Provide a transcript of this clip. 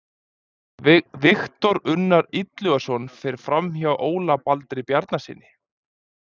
Viktor Unnar Illugason fer framhjá Óla Baldri Bjarnasyni.